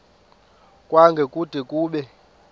kwango kude kube